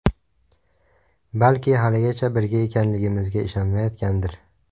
Balki haligacha birga ekanligimizga ishonishmayotgandir.